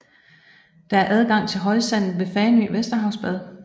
Der er adgang til højsandet ved Fanø Vesterhavsbad